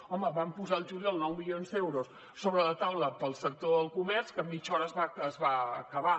home van posar el juliol nou milions d’euros sobre la taula per al sector del comerç que en mitja hora es va acabar